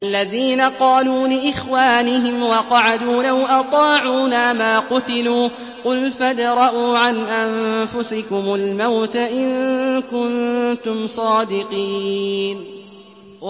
الَّذِينَ قَالُوا لِإِخْوَانِهِمْ وَقَعَدُوا لَوْ أَطَاعُونَا مَا قُتِلُوا ۗ قُلْ فَادْرَءُوا عَنْ أَنفُسِكُمُ الْمَوْتَ إِن كُنتُمْ صَادِقِينَ